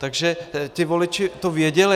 Takže ti voliči to věděli.